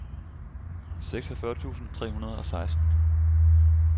seksogfyrre tusind tre hundrede og seksten